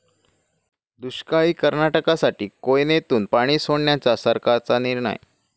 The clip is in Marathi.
दुष्काळी कर्नाटकासाठी कोयनेतून पाणी सोडण्याचा सरकारचा निर्णय